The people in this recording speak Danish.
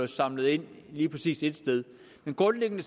samlet lige præcis et sted men grundlæggende